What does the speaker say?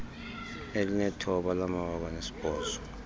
elinethoba lamawaka nesibhozo